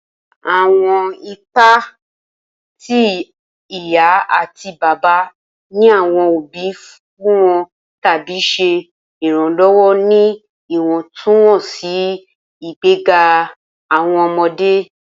Awọn ipa ti iya ati ti baba ni awọn obi n funni tabi ṣe iranlọwọ ni iwọntunwọnsi igbega awọn ọmọde.